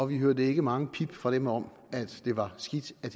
vi hørte ikke mange pip fra dem om at det var skidt at